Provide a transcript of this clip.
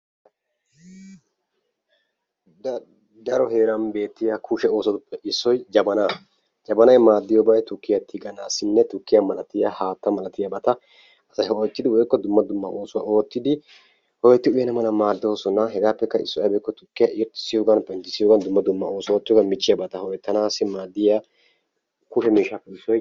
Daro heeran beettiya kushe oosotuppe issoy Jabana, Jabanay maaddiyoobay tukkiya tigganassinne tukkiya malatiyaaba haattaa malatiyaabata asay ho'ettidi woykko dumma dumma oosuwa oottidi uyyana mala maaddoosona. hegappekka issoy aybbe giiko tukkiya irxxissiyoogan penttissiyoogan dumma dumma oosota oottiyoogan michchiyabata ho''ettanaw maaddiya kushee miishshappe issoy..